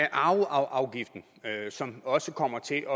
arveafgiften som også kommer til